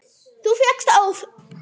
Þú féllst þó?